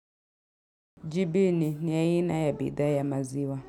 Jibini ni aina ya bidhaa ya maziwa.